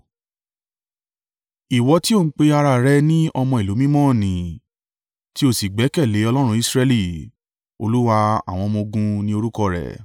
ìwọ tí ò ń pe ara rẹ ní ọmọ ìlú mímọ́ n nì tí o sì gbẹ́kẹ̀lé Ọlọ́run Israẹli— Olúwa àwọn ọmọ-ogun ni orúkọ rẹ̀.